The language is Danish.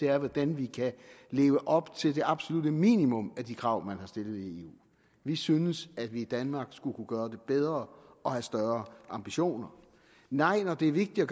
er hvordan vi kan leve op til det absolutte minimum af de krav man har stillet i eu vi synes at vi i danmark skulle kunne gøre det bedre og have større ambitioner nej når det er vigtigt at